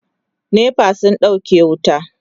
NEPA sun ɗauke wuta